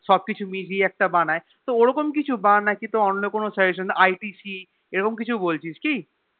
সব কিছু মিইউয়ে একটা বানাই তো ওরকম কিছু বাকি তো অন্য কোনো SuggestionITC এরকম কিছু বলছিস কি